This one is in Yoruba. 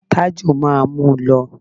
Tájù máa mú lọ.